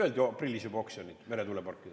Öeldi ju et aprillis juba on oksjonid meretuuleparkidele.